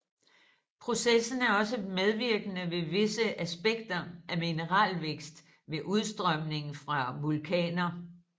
Processen er også medvirkende ved visse aspekter af mineralvækst ved udstrømning fra vulkaner